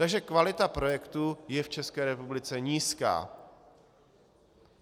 Takže kvalita projektů je v České republice nízká.